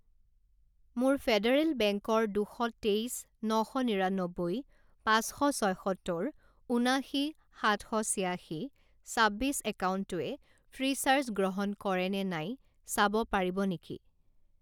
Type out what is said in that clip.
মোৰ ফেডাৰেল বেংকৰ দুশ তেইছ ন শ নিৰান্নব্বৈ পাঁচশ ছয়সত্তৰ ঊনাশী সাত শ ছিয়াশী ছাব্বিছ একাউণ্টটোৱে ফ্ৰীচাৰ্জ গ্ৰহণ কৰে নে নাই চাব পাৰিব নেকি?